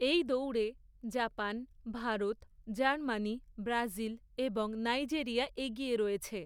এই দৌড়ে Japan, Bharat, Germany, Brazil এবং নাইজেরিয়া এগিয়ে রয়েছে।